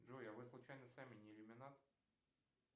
джой а вы случайно сами не иллюминат